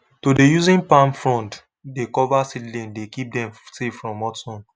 to dey using palm fronds dey cover seedlings dey keep dem safe from hot sun